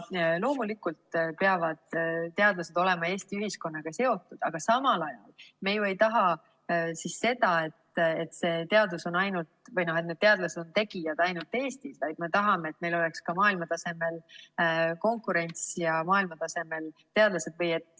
Loomulikult peavad teadlased olema Eesti ühiskonnaga seotud, aga samal ajal me ju ei taha seda, et teadlased on tegijad ainult Eestis, vaid me tahame, et meil oleks ka maailma tasemel konkurents ja maailmatasemel teadlased.